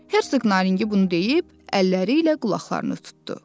Hersoq Naringi bunu deyib, əlləri ilə qulaqlarını tutdu.